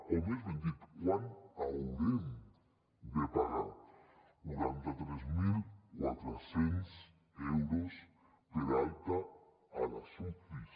o més ben dit quant haurem de pagar quaranta tres mil quatre cents euros per alta a les ucis